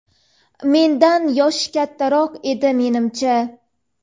Mendan yoshi kattaroq edi menimcha.